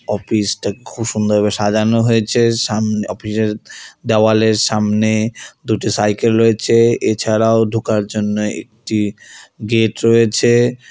Office -টা খুব সুন্দরভাবে সাজানো হয়েছে সামন অফিস -এর দেওয়ালের সামনে দুটি সাইকেল রয়েছে এছাড়াও ঢোকার জন্য একটি গেট রয়েছে।